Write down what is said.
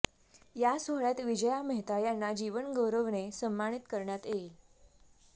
या सोहळ्यात विजया मेहता यांना जीवनगौरवने सन्मानित करण्यात येईल